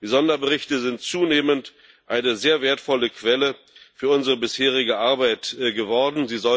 Die Sonderberichte sind zunehmend eine sehr wertvolle Quelle für unsere bisherige Arbeit geworden.